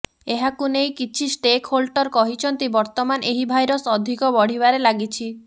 ଏହାକୁ ନେଇ କିଛି ଷ୍ଟେକହୋଲ୍ଟର କହିଛନ୍ତି ବର୍ତ୍ତମାନ ଏହି ଭାଇରସ୍ ଅଧିକ ବଢ଼ିବାରେ ଲାଗିଛି